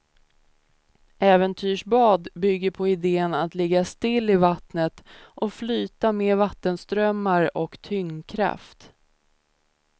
Äventyrsbad bygger på idén att ligga stilla i vattnet och flyta med vattenströmmar och tyngdkraft.